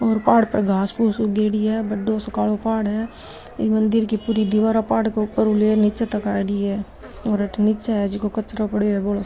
और पहाड़ पे घास फुस उगडी है बड़ो सो कालों पहाड़ है ये मंदिर की पुरे दीवार मंदिर नीच तक आईडी है और अठे नीचे है जिको कचरा पड़े है बोलो सारों।